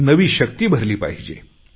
नवी शक्ती भरली पाहिजे